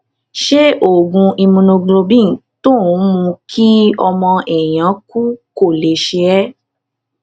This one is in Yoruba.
ṣé oògùn immunoglobulin tó ń mú kí ọmọ èèyàn kú kò lè ṣe é